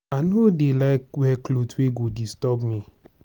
i no dey like wear cloth wey go disturb me.